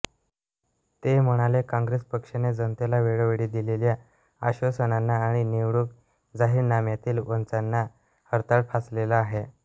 ते म्हणाले काँग्रेस पक्षाने जनतेला वेळोवेळी दिलेल्या आश्वासनांना आणि निवडणूक जाहीरनाम्यातील वचनांना हरताळ फासलेला आहे